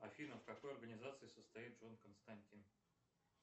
афина в какой организации состоит джон константин